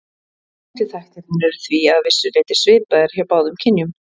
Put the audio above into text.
Áhættuþættirnir eru því að vissu leyti svipaðir hjá báðum kynjum.